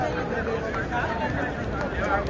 Allah xeyir versin.